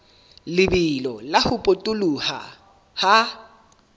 lebelo la ho potoloha ha